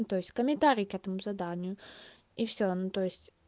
то есть комментарий к этому заданию и всё ну то есть